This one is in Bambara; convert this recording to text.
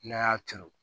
N'a y'a turu